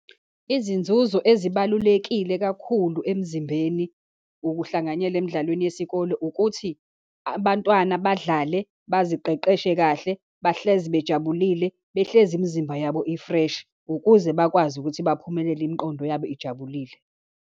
Izinzuzo ezibalulekile kakhulu emzimbeni ukuhlanganyela emidlalweni yesikole, ukuthi abantwana badlale, baziqeqeshe kahle, bahlezi bajabulile, behlezi imizimba yabo i-fresh, ukuze bakwazi ukuthi baphumelele imiqondo yabo ijabulile.